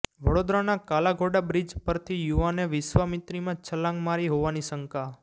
વડોદરાના કાલાઘોડા બ્રિજ પરથી યુવાને વિશ્વામિત્રીમાં છલાંગ મારી હોવાની શંકા